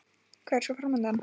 Hvað er svo fram undan?